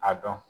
A dɔn